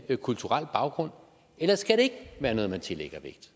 en kulturel baggrund eller skal det ikke være noget man tillægger vægt